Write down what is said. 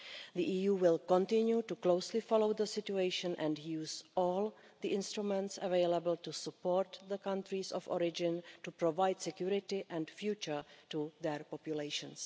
The EU will continue to closely follow the situation and use all the instruments available to support the countries of origin, to provide security and a future to their populations.